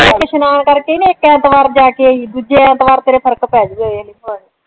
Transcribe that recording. ਇਸ਼ਨਾਨ ਕਰ ਕੇ ਨਾ ਇੱਕ ਐਤਵਾਰ ਜਾ ਕੇ ਆਈ ਦੂਜੇ ਐਤਵਾਰ ਤੇਰੇ ਫਰਕ ਪੈ ਜਾਉ ਵੇਖ ਲਈ ਭਾਵੈ